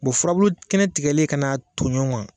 furabulu kɛnɛ tigɛlen ka na tonɲɔgɔn kan.